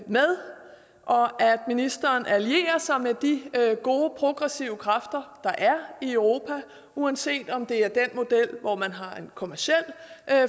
ministeren allierer sig med de gode progressive kræfter der er i europa uanset om det er den model hvor man har en kommerciel